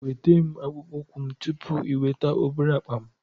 Nweta akpụkpọ ụkwụ m tupu ị weta obere akpa m